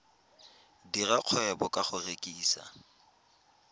dira kgwebo ka go rekisa